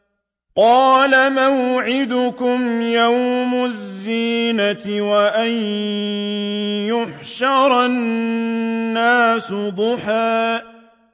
قَالَ مَوْعِدُكُمْ يَوْمُ الزِّينَةِ وَأَن يُحْشَرَ النَّاسُ ضُحًى